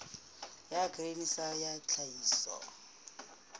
ya grain sa ya tlhahiso